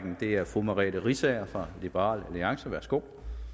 og det er fru merete riisager fra liberal alliance værsgo